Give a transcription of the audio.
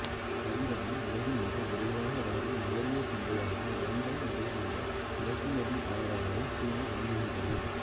தவிரவும் உலகின் மிக விரைவாக வளரும் நுகர்வோர் சந்தையாகவும் இரண்டாம் நிலையிலுள்ள இறக்குமதியாளராகவும் சீனா விளங்குகின்றது